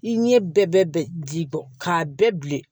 I ɲɛ bɛɛ bɛ ji bɔ k'a bɛɛ bilen